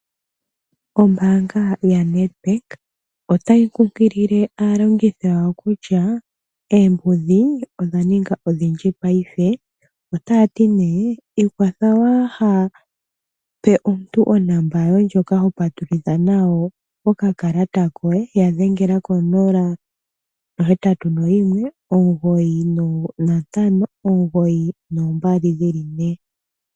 Ombaanga yaNedbank otayi kunkilile aalongithi yawo kutya oombudhi odha ninga odhindji paife. Otaya ti nee ikwatha waa ha pe omuntu onomola yoye ndjoka ho patululitha nayo okakalata koye. Ya dhengela ko 081 9592222.